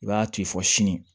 I b'a to yen fɔ sini